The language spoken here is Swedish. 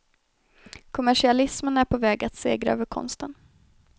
Kommersialismen är på väg att segra över konsten.